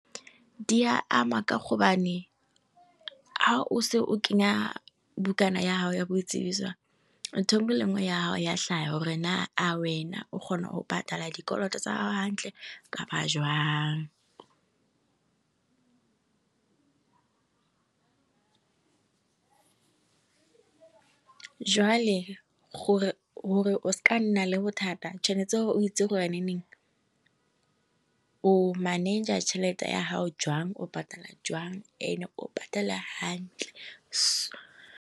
Di a ama ka gobane ha o se o kenya bukana ya gago ya boitsibiso ntho e nngwe le enngwe ya hao ya tlhaga gore naa a o kgona go patala dikoloto hantle kapa jwang. Jwale gore o seke wa nna le bothata tshwanetse gore o itse gore neng o manager tšhelete ya gago jwang, o patala jwang, ene o patale ha ntle.